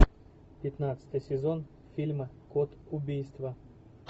пятнадцатый сезон фильма код убийства